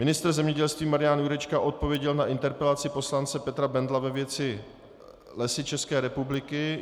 Ministr zemědělství Marian Jurečka odpověděl na interpelaci poslance Petra Bendla ve věci Lesů České republiky.